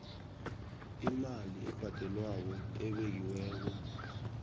imali ebhadelwako ebekiweko